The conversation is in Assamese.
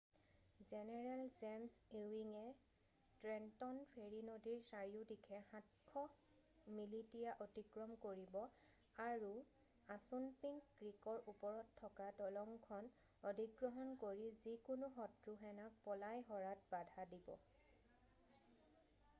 জেনেৰেল জেমছ ইৱিঙে ট্ৰেণ্টন ফেৰী নদীৰ চাৰিওদিশে 700 মিলিটিয়া অতিক্ৰম কৰিব আৰু আছুনপিংক ক্ৰীকৰ ওপৰত থকা দলংখন অধিগ্ৰহণ কৰি যিকোনো শত্ৰু সেনাক পলাই সৰাত বাধা প্ৰদান কৰিব